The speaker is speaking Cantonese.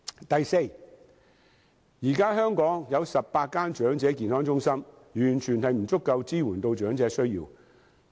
第四，現在香港有18所長者健康中心，絕對不足以支援長者需要。